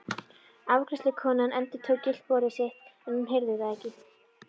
Afgreiðslukonan endurtók gylliboð sitt en hún heyrði það ekki.